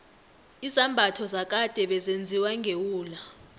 izambatho zakade bezenziwa ngewula